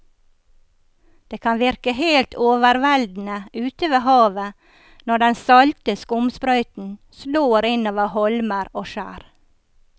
Det kan virke helt overveldende ute ved havet når den salte skumsprøyten slår innover holmer og skjær.